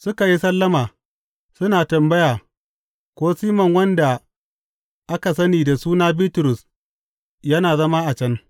Suka yi sallama, suna tambaya ko Siman wanda aka sani da suna Bitrus yana zama a can.